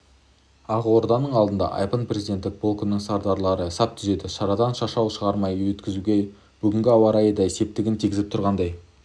ақорданың алдында айбын президенттік полкінің сардарлары сап түзеді шарадан шашау шығармай өткізуге бүгінгі ауа райы да септігін тигізіп тұрғандай